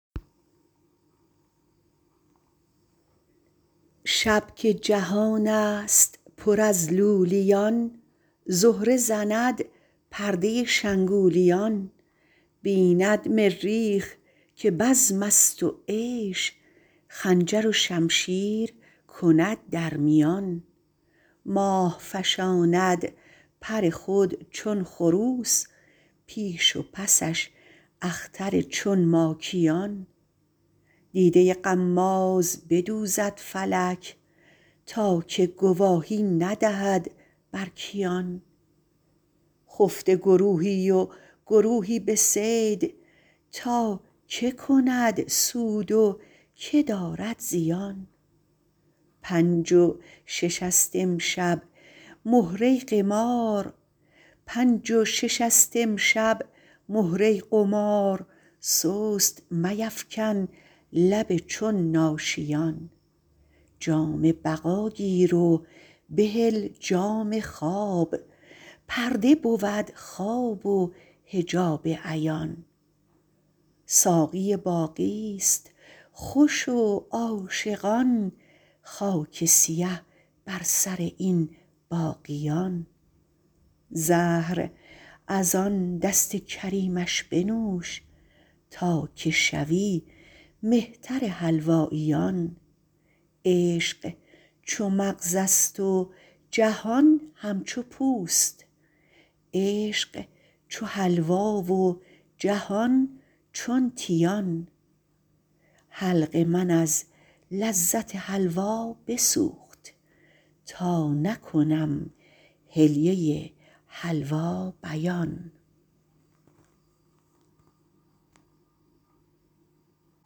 شب که جهان است پر از لولیان زهره زند پرده شنگولیان بیند مریخ که بزم است و عیش خنجر و شمشیر کند در میان ماه فشاند پر خود چون خروس پیش و پسش اختر چون ماکیان دیده غماز بدوزد فلک تا که گواهی ندهد بر کیان خفته گروهی و گروهی به صید تا کی کند سود و کی دارد زیان پنج و شش است امشب مهره قمار سست میفکن لب چون ناشیان جام بقا گیر و بهل جام خواب پرده بود خواب و حجاب عیان ساقی باقی است خوش و عاشقان خاک سیه بر سر این باقیان زهر از آن دست کریمش بنوش تا که شوی مهتر حلواییان عشق چو مغز است جهان همچو پوست عشق چو حلوا و جهان چون تیان حلق من از لذت حلوا بسوخت تا نکنم حلیه حلوا بیان